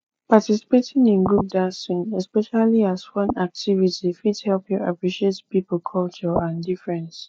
participating in group dancing especially as fun activity fit help you appreciate pipo culture and difference